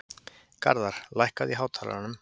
Garðar, lækkaðu í hátalaranum.